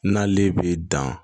N'ale bɛ dan